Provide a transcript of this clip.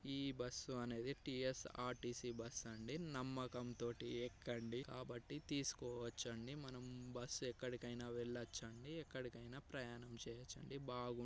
ఈ బస్సు అనేది T S R T C bus అండి నమ్మకం తోటి ఎక్కండి కాబట్టి తేస్కోవచ్చు అండి మనం బస్సు ఎక్కడికైనా వెళ్ళచ్చు అండి ఎక్కడికైనా ప్రయాణం చేయచ్చండి --